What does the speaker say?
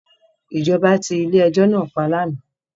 Ìjọba ti ilé ẹjọ́ náà pa ní àná